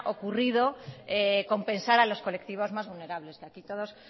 ocurrido compensar a los colectivos más vulnerables que aquí todos